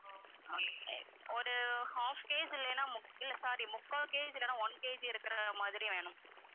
okay ஒரு half KG இல்லன்னா இல்ல sorry முக்கால் KG இல்லன்னா one KG இருக்குற மாதிரி வேணும்